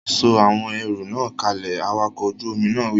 Sọ àwọn ẹrù náà kalẹ̀! Awakọ̀ ojú omi náà wí!